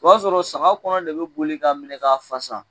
O b'a sɔrɔ saga kɔnɔ de be boli ka minɛ ka fasa